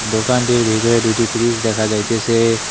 দোকানটির ভিতরে দুইটি ফিরিজ দেখা যাইতেসে।